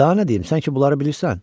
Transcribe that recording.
Daha nə deyim, sən ki bunları bilirsən?